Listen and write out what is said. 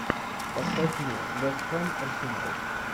поставь мне вест хэм арсенал